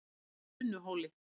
Unuhóli